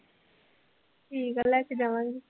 ਠੀਕ ਹੈ ਲੈ ਕੇ ਜਾਵਾਂਗੀ।